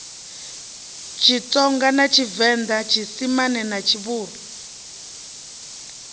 tshitsonga tshivenḓa tshiisimane na tshivhuru